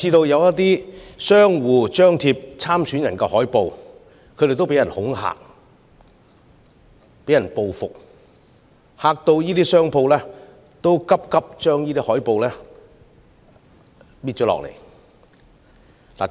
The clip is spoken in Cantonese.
有張貼參選人海報的商戶更被人恐嚇和報復，令商戶人心惶惶，紛紛把海報移除。